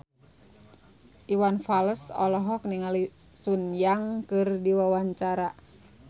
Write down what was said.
Iwan Fals olohok ningali Sun Yang keur diwawancara